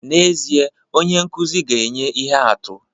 N'ezie, onye nkụzi ga-enye ihe atụ